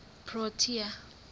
protea